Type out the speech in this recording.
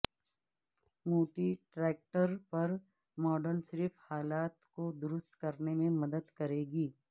موٹی ٹریکٹر پر ماڈل صرف حالات کو درست کرنے میں مدد کرے گی